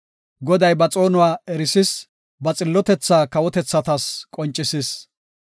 Goday ba xoonuwa erisis; ba xillotethaa kawotethatas qoncisis.